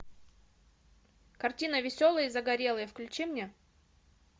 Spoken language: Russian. картина веселые и загорелые включи мне